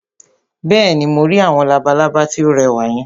Bẹ́ẹ̀ni, mo rí àwọn labalábá tí ó rẹwà yẹn